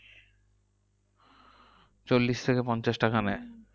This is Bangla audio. চল্লিশ থেকে পঞ্চাশ টাকা নেয়।